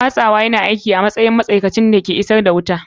Watsawa yana aiki a matsayin matsakaicin da ke isar da wuta.